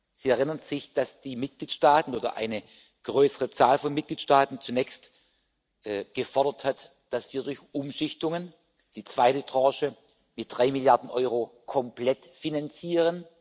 Sie erinnern sich, dass eine größere Zahl von Mitgliedstaaten zunächst gefordert hat, dass wir durch die Umschichtungen, die zweite Tranche mit drei Milliarden Euro komplett finanzieren.